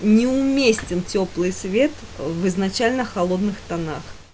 не уместен тёплый свет в изначально холодных тонах